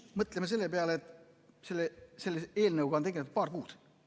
Mõtleme selle peale, et selle eelnõuga on tegeldud paar kuud.